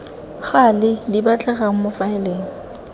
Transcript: gale di batlegang mo difaeleng